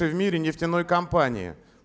это в мире нефтяной компании